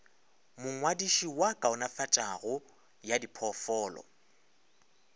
mongwadiši wa kaonafatšo ya diphoofolo